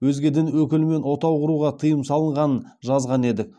өзге дін өкілімен отау құруға тыйым салынғанын жазған едік